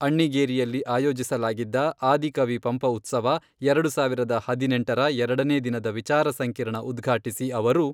ಅಣ್ಣಿಗೇರಿಯಲ್ಲಿ ಆಯೋಜಿಸಲಾಗಿದ್ದ ಆದಿಕವಿ ಪಂಪ ಉತ್ಸವ, ಎರಡು ಸಾವಿರದ ಹದಿನೆಂಟರ ಎರಡನೇ ದಿನದ ವಿಚಾರ ಸಂಕಿರಣ ಉದ್ಘಾಟಿಸಿ ಅವರು